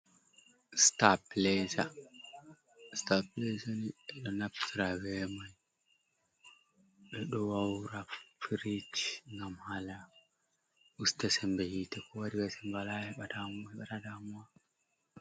Sitaapileeza, sitaapileeza nii ɓe ɗo naftira bee may ɓe ɗo wawra pirish ngam haala usta semmbe hiite koo warira semmbe walaa heɓataa daamuwa.